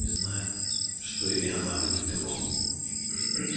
и знает что и она любит его